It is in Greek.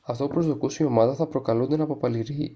αυτό που προσδοκούσε η ομάδα θα προκαλούνταν από